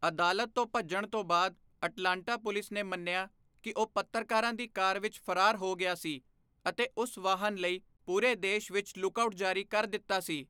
ਅਦਾਲਤ ਤੋਂ ਭੱਜਣ ਤੋਂ ਬਾਅਦ ਅਟਲਾਂਟਾ ਪੁਲਿਸ ਨੇ ਮੰਨਿਆ ਕਿ ਉਹ ਪੱਤਰਕਾਰਾਂ ਦੀ ਕਾਰ ਵਿੱਚ ਫਰਾਰ ਹੋ ਗਿਆ ਸੀ ਅਤੇ ਉਸ ਵਾਹਨ ਲਈ ਪੂਰੇ ਦੇਸ਼ ਵਿੱਚ 'ਲੁੱਕ ਆਊਟ' ਜਾਰੀ ਕਰ ਦਿੱਤਾ ਸੀ।